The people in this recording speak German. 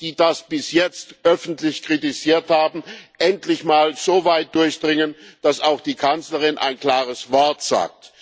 die das bis jetzt öffentlich kritisiert haben, endlich mal so weit durchdringen, dass auch die Kanzlerin ein klares Wort sagt.